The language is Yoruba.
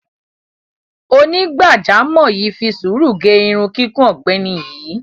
Onígbàjámọ̀ yìí fi sùúrù gẹ irun kíkún ọ̀gbẹ́ni yìí.